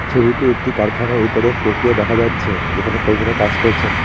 ছবিতে একটি কারখানায় দেখা যাচ্ছে যেখানে কর্মীরা কাজ করছেন।